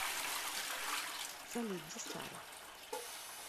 салют где сара